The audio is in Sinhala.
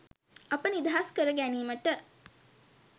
අප නිදහස් කර ගැනීමට